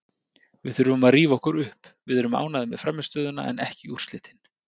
Við þurfum að rífa okkur upp, við erum ánægðir með frammistöðuna en ekki úrslitin.